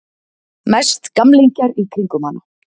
Mest gamlingjar í kringum hana.